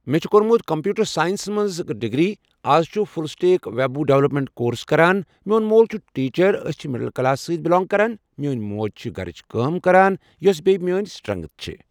مٮ۪ے چھُ کوٚرمُت کمپوٹرساینسس منٛز ڈگری اَز چھُس full stack web development course کران میون مول چھُ ٹیٖچر أسۍ چھِ مِڈل کلاس سۭتۍ بلانگ کرن میٲنۍ موج چھ گرِچ کٲم کران یۄس بییہِ میٲنۍ سٹرنگتھ چھِ۔